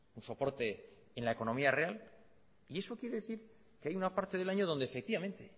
un soporte en la economía real y eso quiere decir que hay una parte del año donde efectivamente